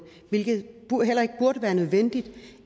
hvilket heller ikke burde være nødvendigt